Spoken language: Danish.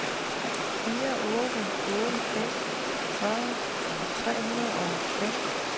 fire otte otte fem fyrre tre hundrede og fem